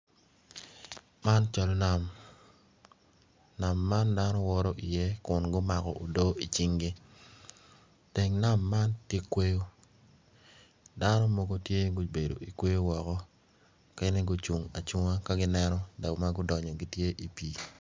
Man cal nam man ma dano giwito iye kun nongo gumako odoo teng nam man tye kweyo dano mogo tye gubedo i kweyo mogo